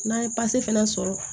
N'an ye pase fana sɔrɔ